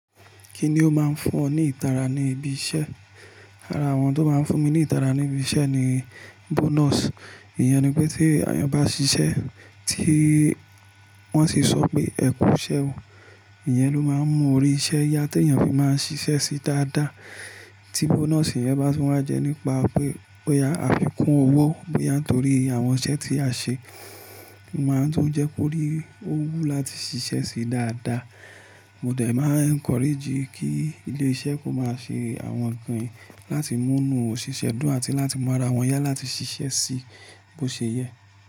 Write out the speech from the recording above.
Kíni ó máa ń fún ọ ní ìtara ní ibi iṣẹ́? Ara àwọn tó máa ń fún mi ní ìtara ní ibi iṣẹ́ ni bonus. Ìyẹn ni pé tí ẹni bá ṣiṣẹ́ tí wọ́n sì sọ pé ẹ̀kú iṣẹ́ o, ìyẹn ló máa ń mú orí iṣẹ́ yá tí èèyàn fi máa ń ṣiṣẹ́ sí dáadáa. Ti bonus yen bá ti wá jẹ nípa pé, pé a fi kún owó bí à ń torí àwọn iṣẹ́ tí a ṣe, máa tó ń jẹ́ kó rí òwú láti ṣiṣẹ́ sí dáadáa. Mo dẹ̀ máa encourage kí ilé iṣẹ́ kó máa ṣe àwọn ǹkan yi láti mú inú òṣìṣẹ́ dùn àti láti mú ara wọn yá láti ṣiṣẹ́ sí bó ṣe yẹ.